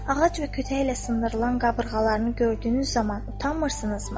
ağac və kütək ilə sındırılan qabırğalarını gördüyünüz zaman utanmırsınızmı?